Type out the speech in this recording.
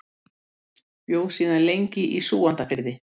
Bjó lengi síðan í Súgandafirði.